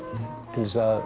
til að